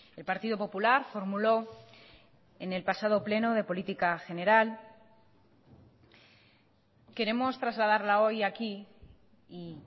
el partido popular formuló en el pasado pleno de política general queremos trasladarla hoy aquí y